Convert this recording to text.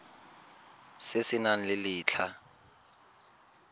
se se nang le letlha